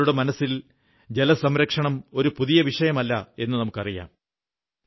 ഭാരതീയരുടെ മനസ്സിൽ ജലസംരക്ഷണം ഒരു പുതിയ വിഷയമല്ലെന്ന് നമുക്കറിയാം